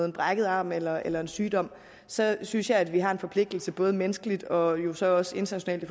en brækket arm eller eller en sygdom så synes jeg vi har en forpligtelse både menneskeligt og jo så også internationalt i